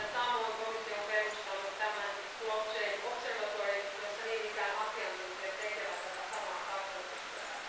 Samoin komissio on perustanut tämän blockchain observatoryn jossa niin ikään asiantuntijat tekevät tätä samaa kartoitustyötä.